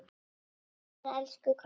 Góða ferð, elsku Kolla.